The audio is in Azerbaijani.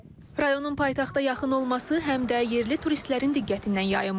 Rayonun paytaxta yaxın olması həm də yerli turistlərin diqqətindən yayınmır.